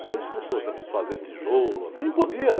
Depois começou a se, a se fazer tijolo, quem podia, né?